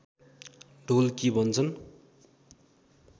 ढोलकी भन्छन्